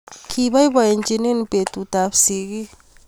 Kibaibaitynchini betut ab sikik